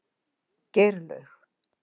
Geirlaug